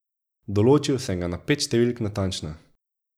Določil sem ga na pet številk natančno.